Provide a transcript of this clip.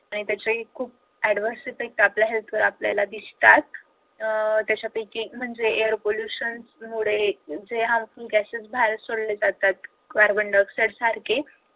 आणि त्याचेही खूप adverse effect आपल्या health वर आपल्याला दिसतात त्यांच्यापैकी म्हणजे ए air pollution मुळे जे harmful gases बाहेर सोडले जातात carbon diaoxide सारखे